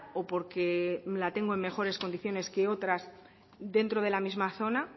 o porque la tengo en mejores condiciones que otras dentro de la misma zona